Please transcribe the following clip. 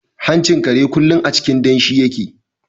Hanchin kare kullum a cikin danshi yake.